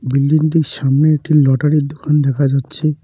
বিল্ডিংটির -টির সামনে একটি লটারির -এর দোকান দেখা যাচ্ছে।